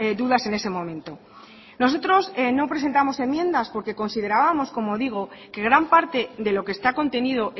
dudas en ese momento nosotros no presentamos enmiendas porque considerábamos como digo que gran parte de lo que está contenido